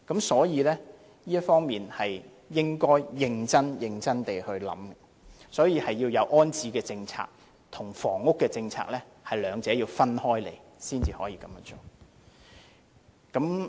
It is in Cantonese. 所以，局長應認真地考量這方面，即安置政策與房屋政策兩者要分開處理，才可以解決問題。